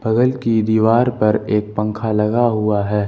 बगल की दीवार पर एक पंखा लगा हुआ है।